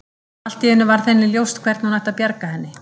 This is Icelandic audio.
Allt í einu varð henni ljóst hvernig hún ætti að bjarga henni.